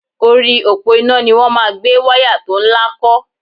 Orí òpó iná ni wọ́n máa gbé wáyá tó ńlá kọ́